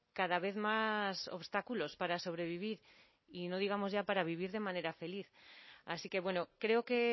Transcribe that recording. cada vez más obstáculos para sobrevivir y no digamos ya para vivir de manera feliz así que bueno creo que